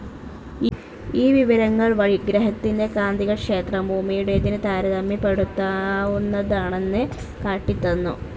ഈ വിവരങ്ങൾ വഴി ഗ്രഹത്തിന്റെ കാന്തികക്ഷേത്രം ഭൂമിയുടേതിന്‌ താരതമ്യപ്പെടുത്താവുന്നതാണെന്ന് കാട്ടിത്തന്നു.